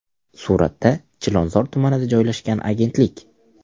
Suratda Chilonzor tumanida joylashgan agentlik.